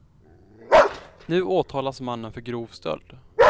Nu åtalas mannen för grov stöld.